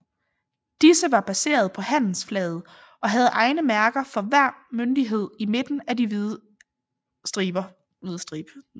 Disse var baseret på handelsflaget og havde egne mærker for hver myndighed i midten af den hvide stribe